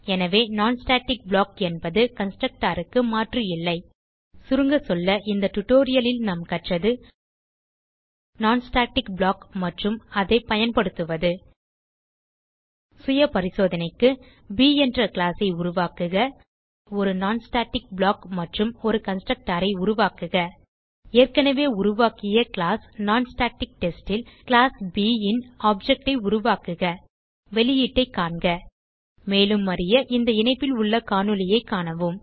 எனவே non static block என்பது constructor க்கு மாற்று இல்லை சுருங்க சொல்ல இந்த டியூட்டோரியல் லில் நாம் கற்றது non ஸ்டாட்டிக் ப்ளாக் மற்றும் அதை பயன்படுத்துவது சுயபரிசோதனைக்கு ப் என்ற கிளாஸ் ஐ உருவாக்குக ஒரு non ஸ்டாட்டிக் ப்ளாக் மற்றும் ஒரு கன்ஸ்ட்ரக்டர் ஐ உருவாக்குக ஏற்கனவே உருவாக்கிய கிளாஸ் நான்ஸ்டாடிக்டெஸ்ட் ல் கிளாஸ் ப் ன் ஆப்ஜெக்ட் ஐ உருவாக்குக வெளியீட்டைக் காண்க மேலும் அறிய இந்த இணைப்பில் உள்ள காணொளியைக் காணவும்